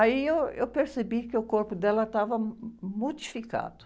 Aí eu, eu percebi que o corpo dela estava modificado.